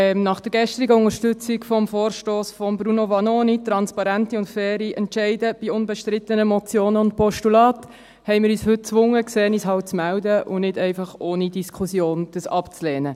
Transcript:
Nach der gestrigen Unterstützung des Vorstosses von Bruno Vanoni, «Transparente und faire Entscheide über unbestrittene Motionen und Postulate», haben wir uns gezwungen gesehen, uns halt zu melden, und dies nicht einfach ohne Diskussion abzulehnen.